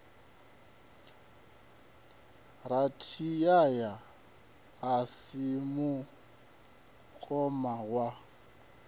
rathiyaya a si mukoma wa